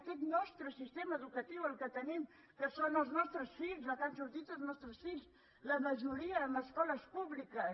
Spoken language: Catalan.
aquest nostre sistema educatiu el que tenim que són els nostres fills amb el qual han sortit els nostres fills la majoria en escoles públiques